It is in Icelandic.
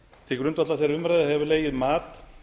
til grundvallar þeirri umræðu hefur legið mat